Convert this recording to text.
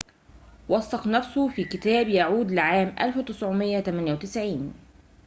وثّق نفسه في كتاب يعود لعام 1998